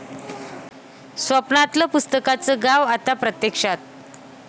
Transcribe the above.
स्वप्नातलं पुस्तकांचं गाव आता प्रत्यक्षात...!